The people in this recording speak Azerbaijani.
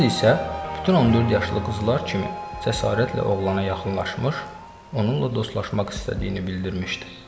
Qız isə bütün 14 yaşlı qızlar kimi cəsarətlə oğlana yaxınlaşmış, onunla dostlaşmaq istədiyini bildirmişdi.